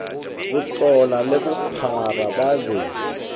botlotla le bophara ba be